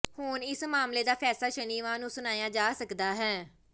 ਹੁਣ ਇਸ ਮਾਮਲੇ ਦਾ ਫੈਸਲਾ ਸ਼ਨੀਵਾਰ ਨੂੰ ਸੁਣਾਇਆ ਜਾ ਸਕਦਾ ਹੈ